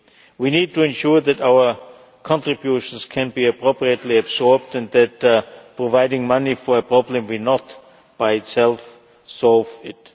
We need to ensure that our contributions can be appropriately absorbed and remember that providing money for a problem will not, by itself, solve it.